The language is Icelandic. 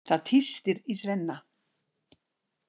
Það tístir í Svenna.